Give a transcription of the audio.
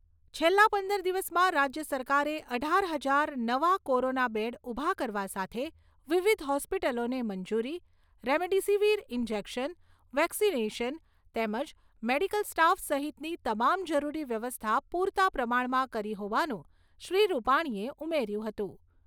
છેલ્લા પંદર દિવસમાં રાજ્ય સરકારે અઢાર હજાર નવા કોરોના બેડ ઊભા કરવા સાથે વિવિધ હોસ્પિટલોને મંજૂરી, રેમડેસિવિર ઈન્જેક્શન, વેક્સિનેશન તેમજ મેડિકલ સ્ટાફ સહિતની તમામ જરૂરી વ્યવસ્થા પૂરતા પ્રમાણમાં કરી હોવાનું શ્રી રૂપાણીએ ઉમેર્યું હતું